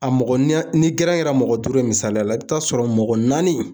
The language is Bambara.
A mɔgɔ, ni gɛrɛn kɛra mɔgɔ duuru ye misaliya la i bɛ t'a sɔrɔ mɔgɔ naani